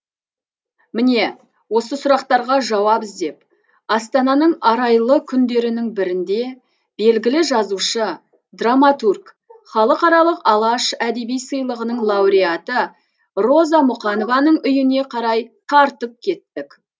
міне осы сұрақтарға жауап іздеп астананың арайлы күндерінің бірінде белгілі жазушы драматург халықаралық алаш әдеби сыйлығының лауреаты роза мұқанованың үйіне қарай тартып кеттік